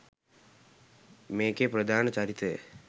මේකෙ ප්‍රධාන චරිතය